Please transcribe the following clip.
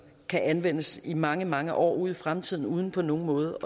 kan anvendes i mange mange år ud i fremtiden uden på nogen måde